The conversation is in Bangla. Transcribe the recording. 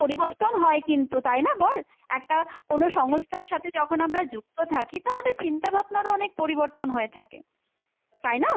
পরিবর্তন হয় কিন্তু, তাই না বল? একটা কোনো সংস্থার সাথে যখন আমরা যুক্ত থাকি তো আমাদের চিন্তাভাবনারও অনেক পরিবর্তন হয়ে থাকে, তাই না?